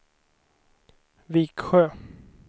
Viksjö